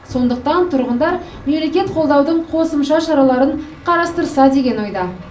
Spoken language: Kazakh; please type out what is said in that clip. сондықтан тұрғындар мемлекет қолдаудың қосымша шараларын қарастырса деген ойда